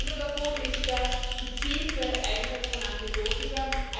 Einer davon ist der gezielte Einsatz von Antibiotika.